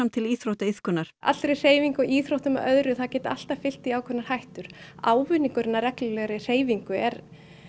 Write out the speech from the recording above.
til íþróttaiðkunar allri hreyfingum íþróttum og öðru það geta alltaf fylgt því ákveðnar hættur ávinningurinn af reglulegri hreyfingu er